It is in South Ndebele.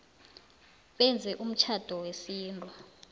benze umtjhado wesintu